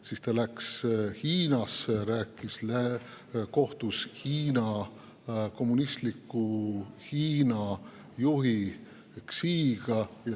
Siis ta läks Hiinasse ja kohtus kommunistliku Hiina juhi Xiga.